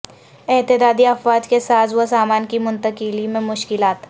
اتحادی افواج کے ساز و سامان کی منتقلی میں مشکلات